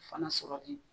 Fana sɔrɔli